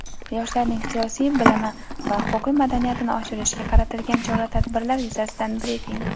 Yoshlarning siyosiy bilimi va huquqiy madaniyatini oshirishga qaratilgan chora-tadbirlar yuzasidan brifing.